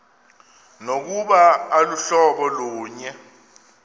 nokuba aluhlobo lunye